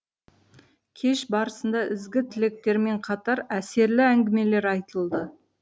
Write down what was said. кеш барысында ізгі тілектермен қатар әсерлі әңгімелер айтылды